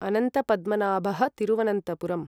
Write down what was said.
अनन्तपद्मनाभः Thiruvananthapuram